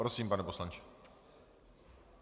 Prosím, pane poslanče.